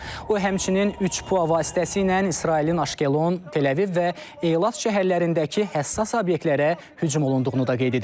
O, həmçinin, üç PUA vasitəsilə İsrailin Aşkelon, Təl-Əviv və Eylat şəhərlərindəki həssas obyektlərə hücum olunduğunu da qeyd edib.